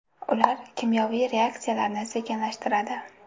Ular kimyoviy reaksiyalarni sekinlashtiradi.